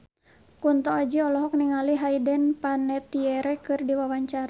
Kunto Aji olohok ningali Hayden Panettiere keur diwawancara